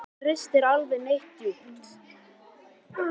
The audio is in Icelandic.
En það ristir aldrei neitt djúpt.